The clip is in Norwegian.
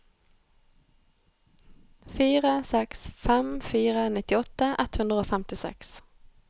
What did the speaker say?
fire seks fem fire nittiåtte ett hundre og femtiseks